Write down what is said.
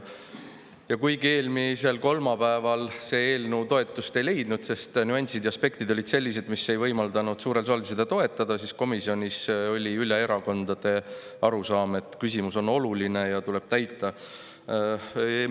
Ja kuigi eelmisel kolmapäeval see eelnõu toetust ei leidnud, sest nüansid ja aspektid olid sellised, mis ei võimaldanud suurel saalil seda toetada, oli komisjonis üle erakondade arusaam, et see küsimus on oluline ja tuleb täita.